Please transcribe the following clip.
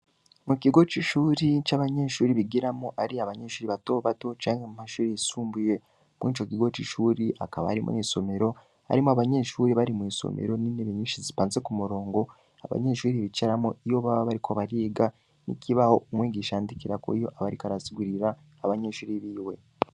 Mu kigo c'ishuri, c'abanyeshuri bigiramwo, ari abanyeshuri bato bato, canke mu mashuri yisumbuye; muri ico kigo c'ishuri hakaba harimwo n'isomero, harimwo abanyeshuri bari mw'isomero, n'intebe nyinshi zipanze ku murongo, abanyeshuri bicaramwo, iyo baba bariko bariga, n'ikibaho umwigisha yandikirako, iyo aba ariko arasigurira abanyeshuri biwe.